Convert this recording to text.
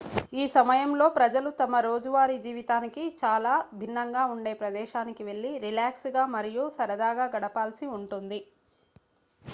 ఈ సమయంలో ప్రజలు తమ రోజువారీ జీవితానికి చాలా భిన్నంగా ఉండే ప్రదేశానికి వెళ్లి రిలాక్స్ గా మరియు సరదాగా గడపాల్సి ఉంటుంది